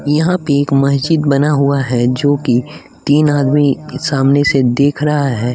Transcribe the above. यहाँ पे एक मस्जिद बना हुआ है जो कि तीन आदमी सामने से देख रहा है।